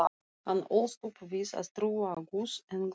Hann ólst upp við að trúa á Guð, engla